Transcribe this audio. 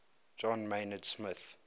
john maynard smith